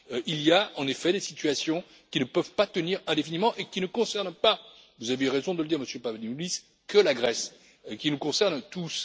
Il y a, en effet, des situations qui ne peuvent pas tenir indéfiniment et qui ne concernent pas vous avez eu raison de le dire, Monsieur Papadimoulis que la Grèce, mais qui nous concernent tous.